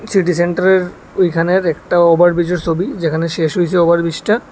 City সেন্টারের ঐখানের একটা ওভারব্রিজের ছবি যেখানে শেষ হয়েছে ওভারব্রিজটা।